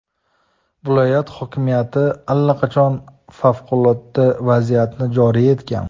Viloyat hokimiyati allaqachon favqulodda vaziyatni joriy etgan.